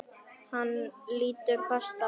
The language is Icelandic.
Hann lítur fast á hana.